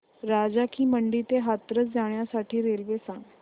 राजा की मंडी ते हाथरस जाण्यासाठी रेल्वे सांग